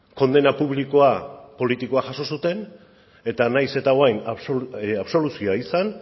kondena publikoa politikoa jaso zuten eta nahiz eta orain absoluzioa izan